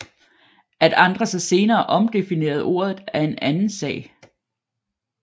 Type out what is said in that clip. At andre så senere omdefinerede ordet er en anden sag